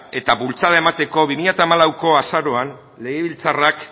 eta bultzada emateko bi mila hamalauko azaroan legebiltzarrak